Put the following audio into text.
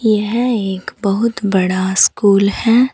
यह एक बहुत बड़ा स्कूल है।